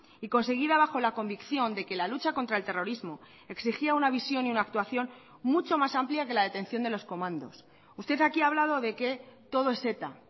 y conseguida bajo la convicción de que la lucha contra el terrorismo exigía una visión y una actuación mucho más amplia que la detención de los comandos usted aquí ha hablado de que todo es eta